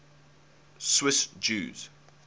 swiss jews